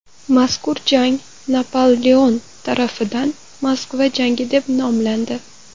Mazkur jang Napoleon tarafidan Moskva jangi deb nomlandi.